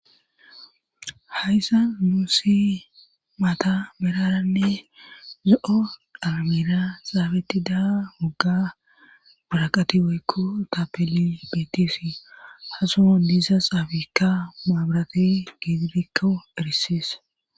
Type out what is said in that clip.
Hayssa muusi maata beraranne zo7o dhalamira xaabetti daa mugga buraqati woykko taapeli beetisi hasoo diisa xaabiikka maabirate giidirikko erisis.